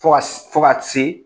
Fɔ ka fɔ ka se.